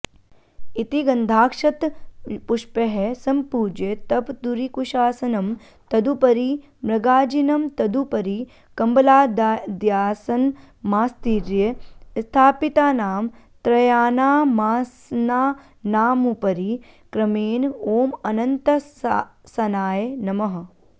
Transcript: इति गन्धाक्षतपुष्पैः सम्पूज्य तपदुरिकुशासनं तदुपरि मृगाजिनं तदुपरि कम्बलाद्यासनमास्तीर्य स्थापितानां त्रयाणामासनानामुपरि क्रमेण ॐ अनन्तासनाय नमः